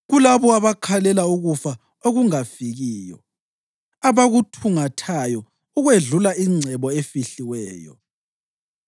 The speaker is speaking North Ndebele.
kulabo abakhalela ukufa okungafikiyo, abakuthungathayo ukwedlula ingcebo efihliweyo,